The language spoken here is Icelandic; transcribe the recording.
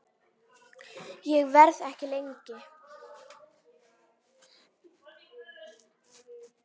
Ég verð ekki lengi